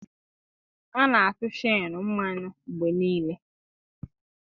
A na-atụ cheenụ mmanụ mgbe niile.